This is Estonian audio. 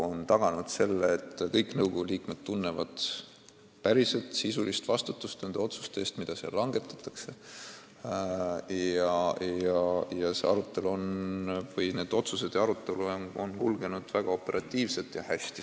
On tagatud see, et kõik nõukogu liikmed tunnevad päriselt sisulist vastutust nende otsuste eest, mida seal langetatakse, ning arutelud on kulgenud väga operatiivselt ja hästi.